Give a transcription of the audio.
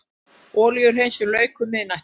Olíuhreinsun lauk um miðnættið